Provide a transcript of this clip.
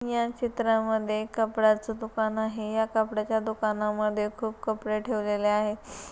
या चित्रा मध्ये कपड्याच दुकान आहे या कपड्याच्या दुकानामध्ये खूप कपडे ठेवलेल्या आहे.